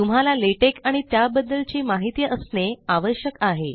तुम्हाला लेटेक आणि त्याबददल ची माहीती असणे आश्यक आहे